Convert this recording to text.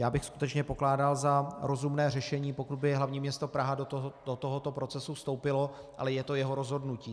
Já bych skutečně pokládal za rozumné řešení, pokud by hlavní město Praha do tohoto procesu vstoupilo, ale je to jeho rozhodnutí.